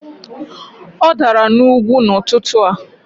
Ọ dara n'ugwu n'ụtụtụ a